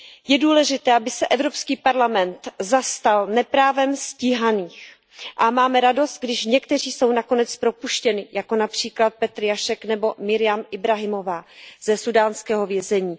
Je důležité, aby se Evropský parlament zastal neprávem stíhaných, a mám radost, když někteří jsou nakonec propuštěni, jako například Petr Jašek nebo Miriam Ibrahimová ze súdánského vězení.